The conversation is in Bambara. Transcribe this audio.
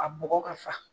A bɔgɔ ka fa